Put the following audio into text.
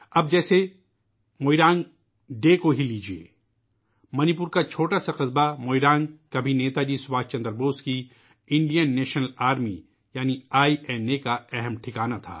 اب ، مثال کے طور پر ، موئیرانگ ڈے کو ہی لے لیجئے ! منی پور کا ایک چھوٹا سا قصبہ ، موئیرانگ ، کسی زمانے میں نیتا جی سبھاش چندر بوس کی انڈین نیشنل آرمی یعنی آئی این اے کا ایک اہم ٹھکانہ تھا